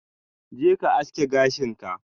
Je ka aske gashin ka!